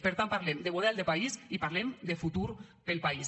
per tant parlem de model de país i parlem de futur per al país